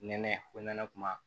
Nɛnɛ ko nɛnɛ kuma